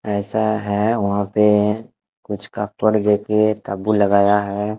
ऐसा है वहाँ पे कुछ तम्बू लगया है।